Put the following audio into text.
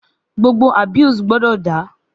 Gbogbo abuse gbọdọ da!